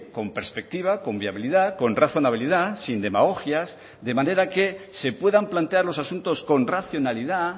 con perspectiva con viabilidad con razonabilidad sin demagogias de manera que se puedan plantear los asuntos con racionalidad